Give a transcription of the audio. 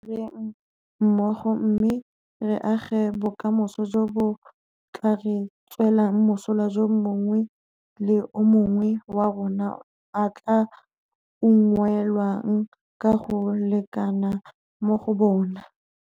Tla re direng mmogo mme re age bokamoso jo bo tla re tswelang mosola jo mongwe le mongwe wa rona a tla unngwelwang ka go lekana mo go bona.